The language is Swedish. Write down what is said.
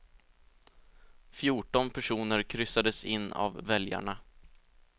Fjorton personer kryssades in av väljarna.